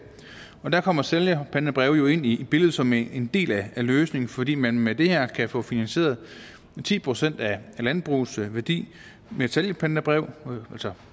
der kommer sælgerpantebreve jo ind i billedet som en del af løsningen fordi man med det her kan få finansieret ti procent af landbrugets værdi med et sælgerpantebrev